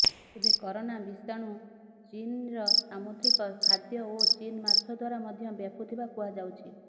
ଏବେ କରୋନା ବିଷାଣୁ ଚୀନ୍ର ସାମୁଦ୍ରିକ ଖାଦ୍ୟ ଓ ଚୀନ୍ ମାଛ ଦ୍ୱାରା ମଧ୍ୟ ବ୍ୟାପୁଥିବା କୁହାଯାଉଛି